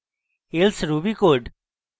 else ruby code